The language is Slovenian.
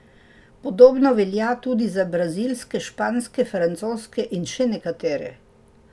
Podobno velja tudi za brazilske, španske, francoske in še nekatere.